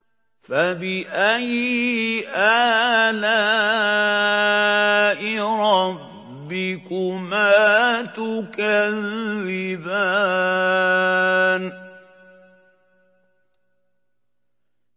فَبِأَيِّ آلَاءِ رَبِّكُمَا تُكَذِّبَانِ